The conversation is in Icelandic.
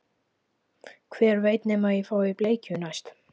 Hver veit nema ég fái bleikju næst